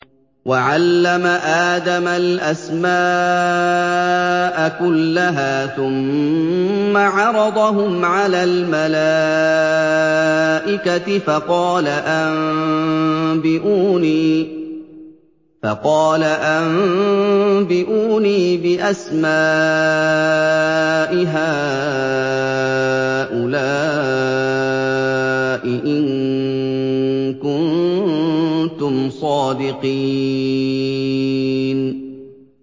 وَعَلَّمَ آدَمَ الْأَسْمَاءَ كُلَّهَا ثُمَّ عَرَضَهُمْ عَلَى الْمَلَائِكَةِ فَقَالَ أَنبِئُونِي بِأَسْمَاءِ هَٰؤُلَاءِ إِن كُنتُمْ صَادِقِينَ